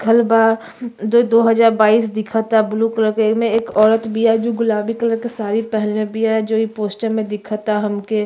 लिखल बा जो दो हजार बाइस दिखता ब्लू कलर के। एमे एगो औरत बिया जो गुलाबी कलर के साडी पहनले बिया जो एक पोस्टर मे दिखता हमके।